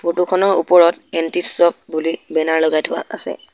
ফটোখনৰ ওপৰত anti shop বুলি বেনাৰ লগাই থোৱা আছে।